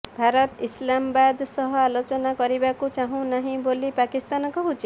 ଭାରତ ଇସ୍ଲାମାବାଦ ସହ ଆଲୋଚନା କରିବାକୁ ଚାହୁଁନାହିଁ ବୋଲି ପାକିସ୍ତାନ କହୁଛି